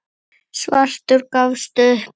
Svartur gafst upp.